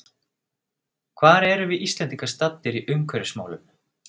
Hvar erum við Íslendingar staddir í umhverfismálum?